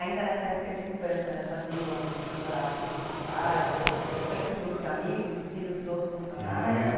Ainda nessa época de infância, nessa vila onde o senhor morava com os seus pais e tal, o senhor tinha um grupo de amigos, dos filhos dos outros funcionários ali?